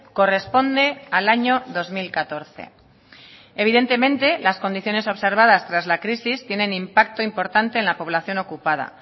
corresponde al año dos mil catorce evidentemente las condiciones observadas tras la crisis tienen impacto importante en la población ocupada